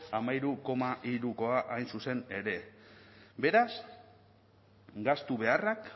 hamairu koma hirukoa hain zuzen ere beraz gastu beharrak